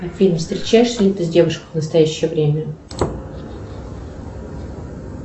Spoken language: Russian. афина встречаешься ли ты с девушкой в настоящее время